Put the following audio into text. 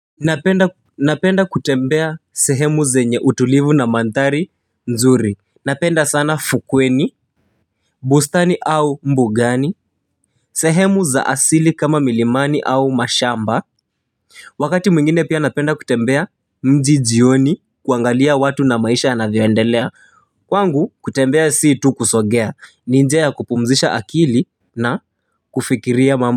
Napenda kutembea sehemu zenye utulivu na mandhari nzuri. Napenda sana fukweni, bustani au mbugani. Sehemu za asili kama milimani au mashamba, wakati mwingine pia napenda kutembea mji jioni kuangalia watu na maisha yanavyoendelea. Kwangu kutembea si tu kusogea ni njia ya kupumzisha akili na kufikiria mambo.